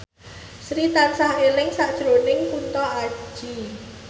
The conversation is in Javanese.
Sri tansah eling sakjroning Kunto Aji